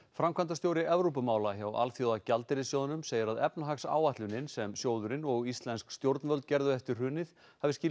framkvæmdastjóri Evrópumála hjá Alþjóðagjaldeyrissjóðnum segir að efnahagsáætlunin sem sjóðurinn og íslensk stjórnvöld gerðu eftir hrunið hafi